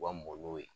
U ka mɔw